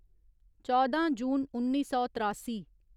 चौदां जून उन्नी सौ त्रासी